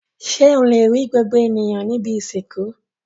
Ṣé ó le gbogbo ènìyàn ní ibi-ìsìnkú?